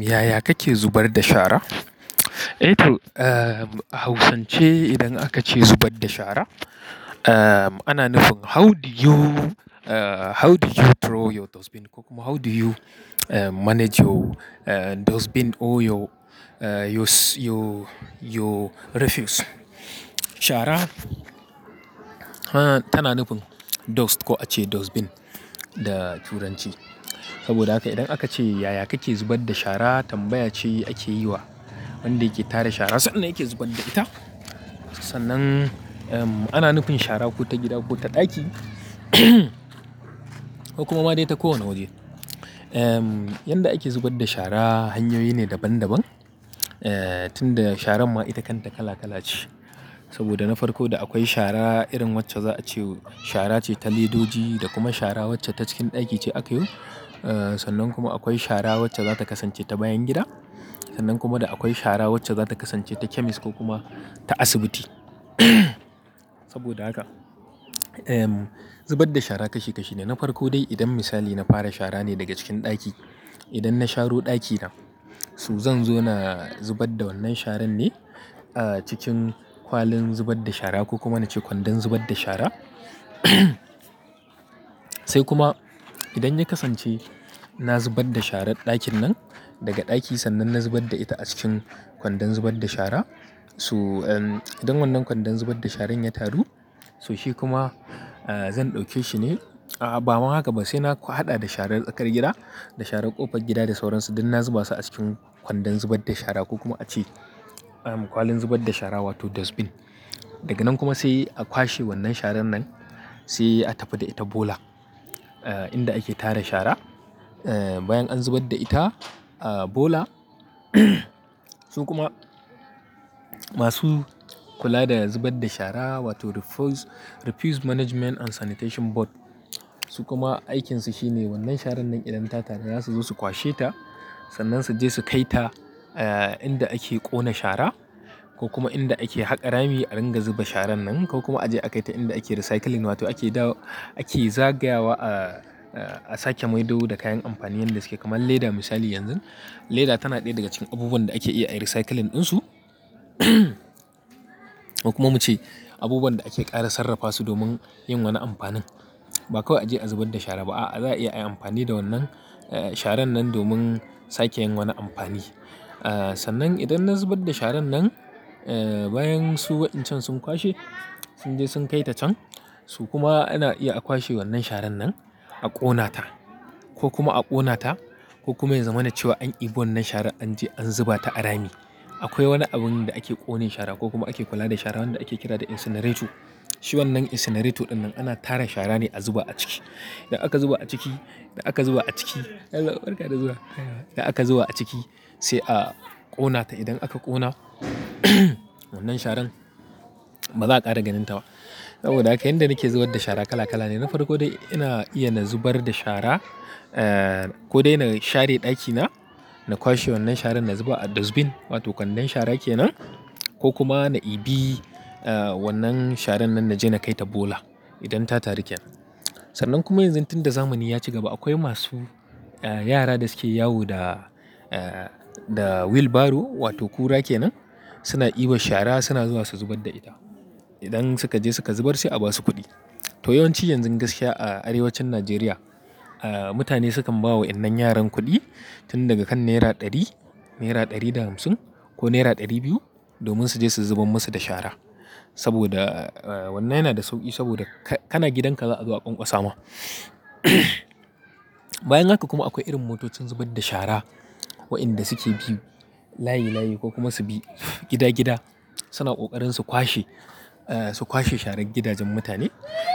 Yaya kake zubar da shara? Eh to, a hausance idan aka ce zubar da shara, ana nufin how do you, how do you throw your dustbin ko kuma how do you manage your dustbin or your, your, your refuse. Shara tana nufin dust ko a ce dustbin da turanci. Saboda haka idan aka ce yaya kake zubar da shara, tambaya ce ake yi wa wanda yake tara shara sannan yake zubar da ita. Sannan ana nufin shara ko ta gida ko ta ɗaki ko kuma ma dai ta ko wanne waje. Yanda ake zubar da shara hanyoyi ne daban-daban, tunda sharan ma ita kanta kala-kala ce. Saboda na farko da akwai shara irin wacce za a ce shara ce ta ledoji da kuma shara wacce ta cikin ɗaki ce aka yi. Sannan kuma akwai shara wacce za ta kasance ta bayan gida. Sannan kuma da akwai shara wacce za ta kasance ta chemist ko kuma ta asibiti. Saboda haka, zubar da shara kashi-kashi ne. Na farko dai idan misali na fara shara ne daga cikin ɗaki. Idan na sharo ɗakina, s zan zo na zubar da wannan sharan ne cikin kwalin zubar da shara ko kuma nace kwandon zubar da shara. Sai kuma idan ya kasance na zubar da sharan ɗakin nan daga ɗaki sannan na zubar da ita a cikin kwandon zubar da shara. So idan wannan kwandon zubar da sharan ya taru, so shi kuma. Zan ɗauke shi ne, a'a ba ma haka ba sai na haɗa da sharar tsakar gida, da sharar ƙofar gida da sauran su, duk na zuba su a cikin kwandon zubar da shara ko kuma ace. Kwalin zubar da shara wato dustbin. Daga nan kuma sai a kwashe wannan sharan nan sai a tafi da ita bola, inda ake tara shara. Bayan an zubar da ita bola, su kuma. Masu kula da zubar da shara wato refuse management and sanitation board, su kuma aikinsu shine wannan sharan nan idan ta taru za su zo su kwashe ta sannan su je su kai ta. Lnda ake ƙona shara, ko kuma inda ake haƙa rami a ringa zuba sharan nan, ko kuma aje a kai ta inda ake recycling wato ake dawo, ake zagayawa a sake maido da kayan amfani yanda suke, kaman leda misali yanzun. Leda tana ɗaya daga cikin abubuwan da ake iya ai recycling ɗin su. Ko kuma muce abubuwan da ake ƙara sarrafa su domin yin wani amfanin. Ba kawai aje a zubar da shara ba, a'a za a iya ai amfani da wannan sharan nan domin sake yin wani amfani. Sannan idan na zubar da sharan nan, bayan su waɗancan sun kwashe, sun je sun kai ta can, so kuma ana iya a kwashe wannan sharan nan a ƙona ta ko kuma a ƙona ta ko kuma ya zama na cewa an ibi wannan sharan an je an zuba ta a rami. Akwai wani abun da ake ƙone shara ko kuma ake kula da shara wanda ake kira da incinerator. Shi wannan incinerator ɗinnan ana tara shara ne a zuba a ciki. Da aka zuba a ciki, da aka zuba a ciki, yallaɓai barkada zuwa, da aka zuba a ciki sai a ƙona ta. Idan aka ƙona wannan sharan ba za a ƙara ganin ta ba. Saboda haka yanda nake zubar da shara kala kala ne. Na farko dai ina iya na zubar da shara, ko dai na share ɗakina, na kwashe wannan sharan na zuba a dustbin wato kwandon shara kenan. Ko kuma na ibi wannan sharan nan na je na kai ta bola idan ta taru kenan. Sannan kuma yanzun tunda zamani ya ci gaba akwai masu yara da suke yawo da, da wheelbarrow wato kura kenan suna ibar shara suna zuwa su zubar da ita. Idan suka je suka zubar sai a basu kuɗi. To yawanci yanzun gaskiya a arewacin Najeriya, mutane sukan ba wa waƴannan yaran kuɗi tun daga kan naira ɗari, naira ɗari da hamsin ko naira ɗari biyu domin su je su zubar masu da shara. Saboda wannan yana da sauƙi saboda ka, kana gidanka za a zo a ƙwanƙwasa ma. Bayan haka kuma akwai irin motocin zubar da shara waƴanda suke bi layi-layi ko kuma su bi gida-gida suna ƙoƙarin su kwashe, su kwashe sharan gidajen mutane.